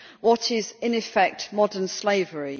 end what is, in effect, modern slavery.